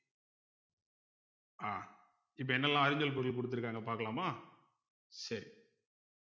ஆஹ் இப்ப என்னெல்லாம் அறிஞ்சொல் பொருள் குடுத்திருக்காங்க பாக்கலாமா சரி